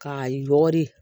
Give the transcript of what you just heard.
K'a yɔgɔri